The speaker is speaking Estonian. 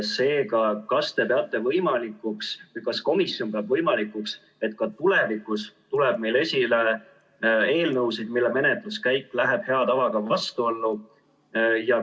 Seega, kas te peate võimalikuks või kas komisjon peab võimalikuks, et ka tulevikus tuleb meil ette eelnõusid, mille menetluskäik läheb hea tavaga vastuollu?